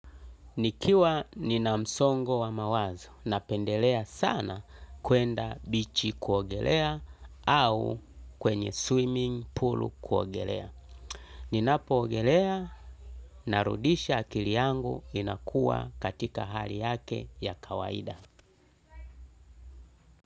Nikiwa nina msongo wa mawazo napendelea sana kuenda bichi kuogelea au kwenye swimming pool kuogelea. Ninapoogelea narudisha akili yangu inakuwa katika hali yake ya kawaida.